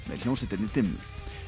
með hljómsveitinni dimmu